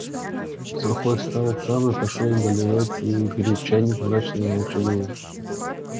сухой встал сам и пошёл доливать сё и греть чайник мрачный и молчаливый